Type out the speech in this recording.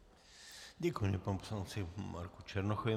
Děkuji panu poslanci Marku Černochovi.